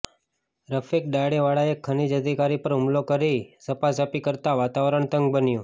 રફીક ડણીવાળાએ ખનીજ અધિકારી પર હુમલો કરી ઝપાઝપી કરતા વાતાવરણ તંગ બન્યું